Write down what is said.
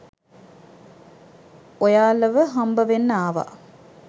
ඔයාලව හම්බවෙන්න ආවා.